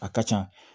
A ka ca